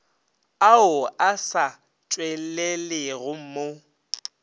ao a sa tšwelelego mo